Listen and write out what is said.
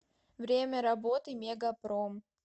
время работы мегапром